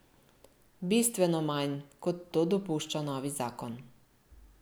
Bistveno manj, kot to dopušča novi zakon.